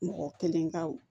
Mɔgɔ kelen ka